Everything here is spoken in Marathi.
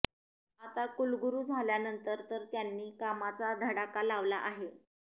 आता कुलगुरू झाल्यानंतर तर त्यांनी कामाचा धडाका लावला आहे